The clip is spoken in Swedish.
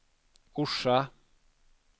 Orsa